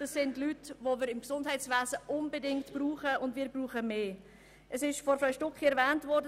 Das sind Leute, die wir im Gesundheitswesen unbedingt brauchen, und wir brauchen mehr von ihnen.